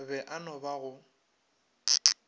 be e no ba go